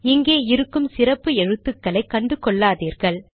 இங்கு இருக்கும் சிறப்பு எழுத்துக்களை கண்டுகொள்ளாதீர்கள்